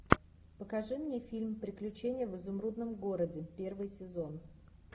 покажи мне фильм приключения в изумрудном городе первый сезон